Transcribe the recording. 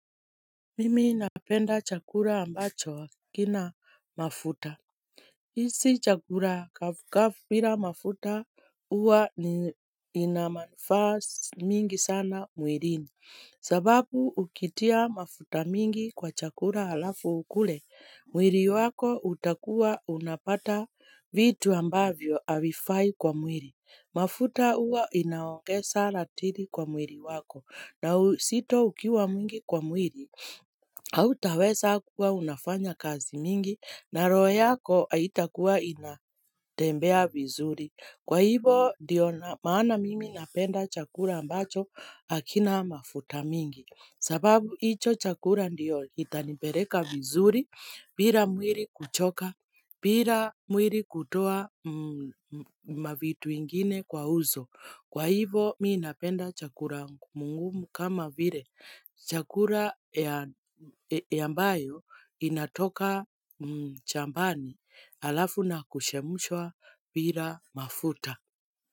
Mimi napenda chakura ambacho akina mafuta.hhh il isi chakura kafira bila mafuta uwa i inamanufaa ss mingi sana mwilini. Mhh sababu ukitia mafuta mingi kwa chakura halafu ukule, mwili wako utakuwa unapata vitu ambavyo avifai kwa mwili. Hhh mafuta uwa inaongeza sana latiri kwa mwiri wako na usito ukiwa mwingi kwa mwiri. Mhh akh Autaweza kuwa unafanya kazi mingi na roo yako aitakuwa inatembea vizuri. Kwa hivo ndio maana mimi napenda chakura ambacho hakina mafuta mingi. Sababu hicho chakura ndiyo itanipereka vizuri bila mwili kuchoka bira mwiri kutoa mm mm mavitu ingine kwa uso Kwa hivo mii napenda chakura ngumu ngumu kama vile chakula ya ah yambayo inatoka chambani alafu na kushemushwa bila mafuta.